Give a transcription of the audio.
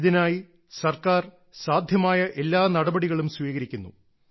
ഇതിനായി സർക്കാർ സാധ്യമായ എല്ലാ നടപടികളും സ്വീകരിക്കുന്നു